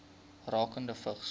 rakende vigs